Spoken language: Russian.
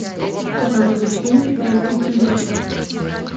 показывай фильм китайский синдром